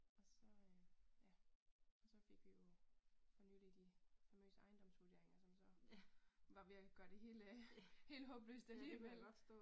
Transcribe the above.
Og så øh ja og så fik vi jo for nylig de famøse ejendomsvurderinger som så var ved at gøre det hele helt håbløst alligevel